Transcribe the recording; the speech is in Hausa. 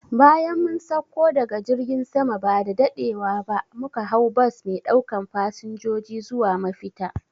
Bayan mun sakko daga jirgin sama ba daɗewa muka hau bas me ɗaukan fasanjoji zuwa mafita